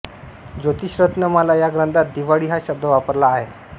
ज्योतिषरत्नमाला या ग्रंथात दिवाळी हा शब्द वापरला आहे